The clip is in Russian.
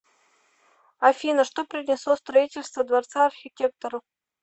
афина что принесло строительство дворца архитектору